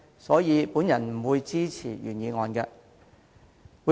所以，我不會支持原議案。